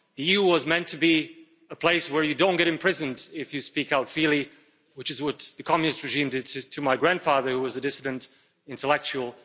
The EU was meant to be a place where you don't get imprisoned if you speak out freely, which is what the Communist regime did to my grandfather, who was a dissident intellectual.